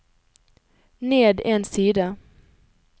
ned en side